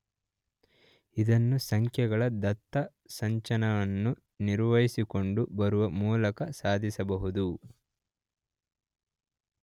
ಇದನ್ನು ಸಂಖ್ಯೆಗಳ ದತ್ತಸಂಚಯವನ್ನು ನಿರ್ವಹಿಸಿಕೊಂಡು ಬರುವ ಮೂಲಕ ಸಾಧಿಸಬಹುದು.